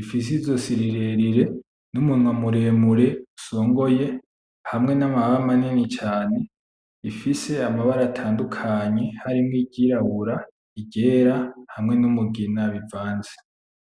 ifise izosi rirerire n'umunwa muremure usongoye hamwe n'amababa manini cane ifise amabara atandukanye harimwo iryirabura, iryera hamwe n'umugina bivanze.